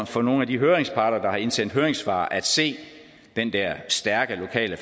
for nogle af de høringsparter der har indsendt høringssvar at se den der stærke lokale